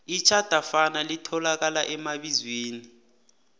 itjhadafana litholakala emabizweni